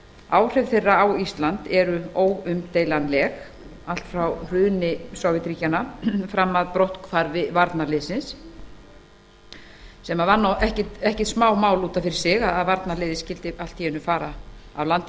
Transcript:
áhrif þeirra á ísland eru óumdeilanleg allt frá hruni sovétríkjanna fram að brotthvarfi varnarliðsins sem var ekkert smámál að varnarliðið skyldi allt í einu fara af landi